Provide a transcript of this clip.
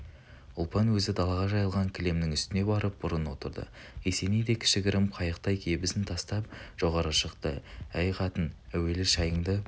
ұлпан өзі далаға жайылған кілемнің үстіне барып бұрын отырды есеней де кіші-гірім қайықтай кебісін тастап жоғары шықты әй қатың әуелі шайыңды